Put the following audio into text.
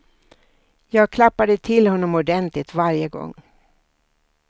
Jag klappade till honom ordentligt varje gång.